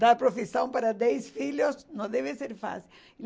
Dar profissão para dez filhos não deve ser fácil.